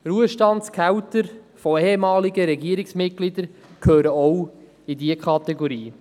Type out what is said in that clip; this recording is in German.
Ruhestandsgehälter von ehemaligen Regierungsmitgliedern gehören auch in diese Kategorie.